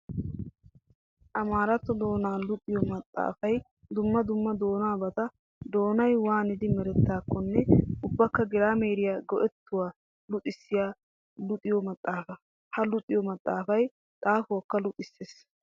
Amaaratto doona luxiyo maxafay dumma dumma doonabatta doonay waanidi merettidakonne ubbakka girameeriya go'etuwaa luxissiya luxiya maxafa. Ha luxiyo maxafay xaafuwakka luxisees.